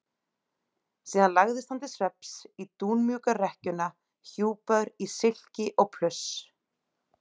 Síðan lagðist hann til svefns í dúnmjúka rekkjuna hjúpaður í silki og pluss.